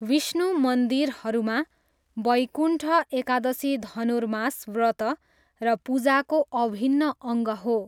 विष्णु मन्दिरहरूमा, वैकुण्ठ एकादशी धनुर्मास व्रत र पूजाको अभिन्न अङ्ग हो।